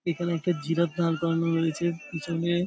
এখানে একটা জিরাফ দাঁড় করানো রয়েছে পিছনে --